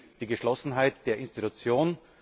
Das zeigt die Geschlossenheit der Institution.